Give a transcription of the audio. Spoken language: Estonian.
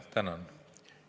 Tänan!